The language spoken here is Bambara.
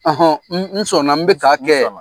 n sɔnna n bɛ